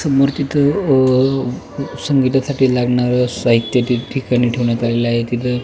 समोर तिथं अ संगीता साठी लागणार साहित्य ठीक ठिकाणी ठेवण्यात आलेलं आहे.